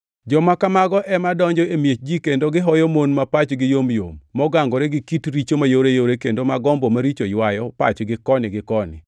Joma kamago ema donjo e miech ji kendo gihoyo mon ma pachgi yomyom mogangore gi kit richo mayoreyore kendo ma gombo maricho ywayo pachgi koni gi koni,